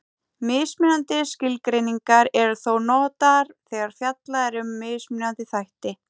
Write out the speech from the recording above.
Mismunandi skilgreiningar eru þó notaðar þegar fjallað er um mismunandi þætti.